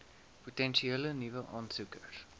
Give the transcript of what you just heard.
potensiële nuwe aansoekers